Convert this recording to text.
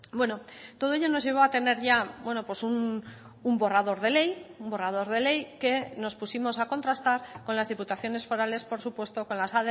bueno todo ello nos llevó a tener ya un borrador de ley un borrador de ley que nos pusimos a contrastar con las diputaciones forales por supuesto con las